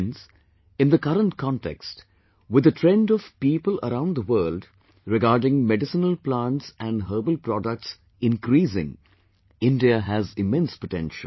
Friends, in the current context, with the trend of people around the world regarding medicinal plants and herbal products increasing, India has immense potential